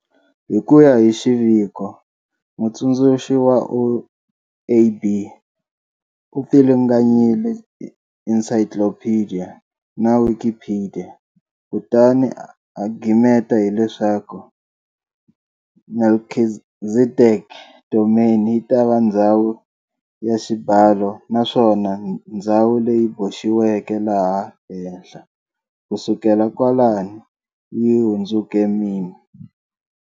Hikuya hi xiviko, mutsundzuxi wa OAB u pfilunganyile Desciclopédia na Wikipedia kutani a gimeta hi leswaku Melchizedek Domain yitava ndzhawu ya xibalo naswona ndzhawu leyi boxiweke laha henhla kusukela kwalano yi hundzuke meme.